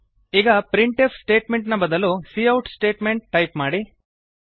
ಈಗ printf statement ನ ಬದಲು ಸಿಔಟ್ ಸ್ಟೇಟ್ಮೆಂಟ್ ಟೈಪ್ ಮಾಡಿ